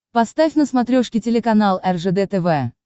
поставь на смотрешке телеканал ржд тв